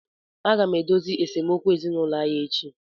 Aga m edozi esemokwu ezinụlọ anyị echi.